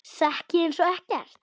Sekk ég einsog ekkert.